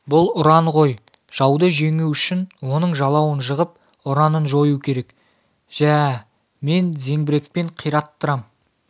бұл ұран ғой жауды жеңу үшін оның жалауын жығып ұранын жою керек жә мен зеңбірекпен қираттырам